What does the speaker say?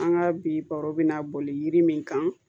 An ka bi baro bɛna boli yiri min kan